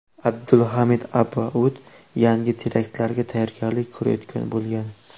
Abdulhamid Abaud yangi teraktlarga tayyorgarlik ko‘rayotgan bo‘lgan.